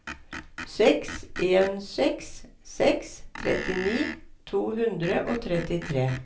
seks en seks seks trettini to hundre og trettitre